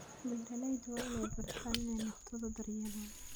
Beeraleydu waa inay bartaan inay naftooda daryeelaan.